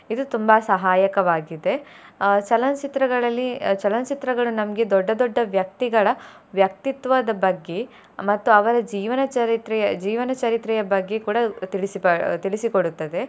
ಇದು ತುಂಬಾ ಸಹಾಯಕವಾಗಿದೆ ಅಹ್ ಚಲನಚಿತ್ರಗಳಲ್ಲಿ ಅಹ್ ಚಲನಚಿತ್ರಗಳು ನಮಗೆ ದೊಡ್ಡ ದೊಡ್ಡ ವ್ಯಕ್ತಿಗಳ ವ್ಯಕ್ತಿತ್ವದ ಬಗ್ಗೆ ಮತ್ತು ಅವರ ಜೀವನ ಚರಿತ್ರೆಯ ಜೀವನ ಚರಿತ್ರೆಯ ಬಗ್ಗೆ ಕೂಡಾ ತಿಳಿಸಿ ಅಹ್ ತಿಳಿಸಿಕೊಡುತ್ತದೆ.